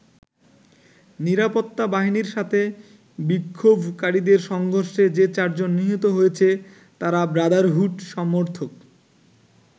নিরাপত্তা বাহিনীর সাথে বিক্ষোভকারীদের সংঘর্ষে যে চারজন নিহত হয়েছে তারা ব্রাদারহুড সমর্থক।